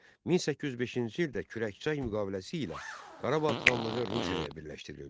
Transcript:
1805-ci ildə Kürəkçay müqaviləsi ilə Qarabağ xanlığı Rusiyaya birləşdirildi.